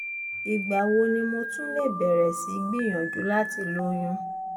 ìgbà wo ni mo tún lè bẹ̀rẹ̀ sí í gbìyànjú láti lóyún?